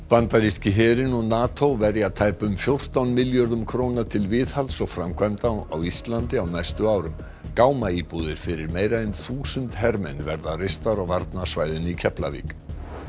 bandaríski herinn og NATO verja tæpum fjórtán milljörðum króna til viðhalds og framkvæmda á Íslandi á næstu árum gámaíbúðir fyrir meira en þúsund hermenn verða reistar á varnarsvæðinu í Keflavík